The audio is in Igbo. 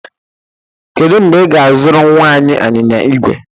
Kedu mgbe ị ga-azụrụ nnwa anyị anyịnya igwe?